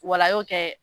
Wala a y'o kɛ